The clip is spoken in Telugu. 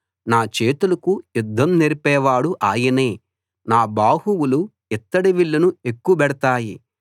నా చేతులకు యుద్ధం నేర్పేవాడు ఆయనే నా బాహువులు ఇత్తడి విల్లును ఎక్కుబెడతాయి